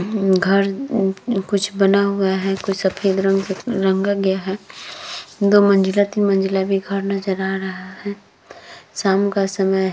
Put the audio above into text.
घर उ कुछ बना हुवा है। कुछ सफ़ेद रंग से रंगा गया है। दो मंजिला तीन मंजिला भी घर नजर आ रहा है। शाम का समय है।